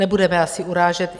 Nebudeme asi urážet.